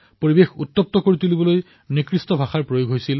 পৰিবেশ উত্তাল কৰিবলৈ কেনেধৰণৰ ভাষা প্ৰয়োগ কৰা হৈছিল